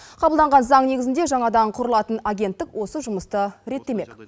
қабылданған заң негізінде жаңадан құрылатын агенттік осы жұмысты реттемек